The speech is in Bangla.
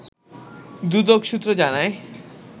দুদক সূত্র জানায়